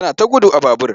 Yana ta gudu a babur.